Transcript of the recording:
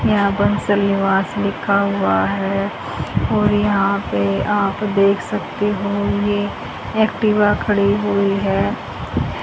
यहां बंसल निवास लिखा हुआ है और यहां पे आप देख सकते हों ये एक्टिवा खड़ी हुई है।